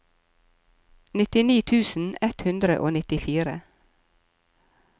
nittini tusen ett hundre og nittifire